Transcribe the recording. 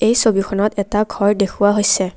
এই ছবিখনত এটা ঘৰ দেখুওৱা হৈছে।